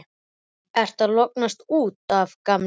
Ertu að lognast út af, gamli?